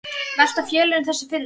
Velta félögin þessu fyrir sér?